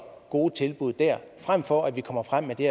gode tilbud der frem for at vi kommer frem med det